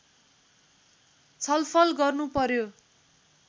छलफल गर्नुपर्‍यो